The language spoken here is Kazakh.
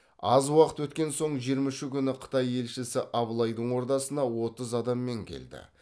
аз уақыт өткен соң жиырма үші күні қытай елшісі абылайдың ордасына отыз адаммен келді